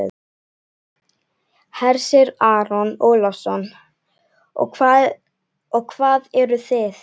Hersir Aron Ólafsson: Og hvað eruð þið?